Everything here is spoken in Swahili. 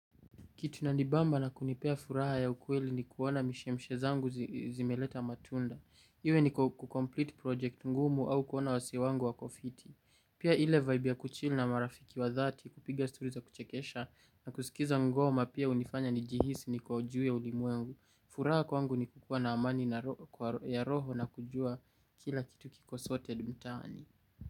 Kitu inanibamba na kunipa furaha ya kweli ni kuona mishemishe zangu zimeleta matunda. Iwe ni kukomplete project ngumu au kuona wase wangu wakofiti. Pia ile vibe ya kuchill na marafiki wa dhati kupiga stori za kuchekesha na kusikiliza ngoma pia hunifanya nijihisi niko juu ya ulimwengu. Furaha kwangu ni kukuwa na amani ya roho na kujua kila kitu kiko soted mtaani.